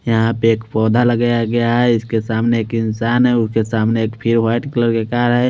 यहाँ पे एक पौधा लगाया गया है इसके सामने एक इंसान है उसके सामने फिर एक वाइट कलर की कार है।